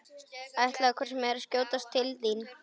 Ætlaði hvort sem er að skjótast til þín.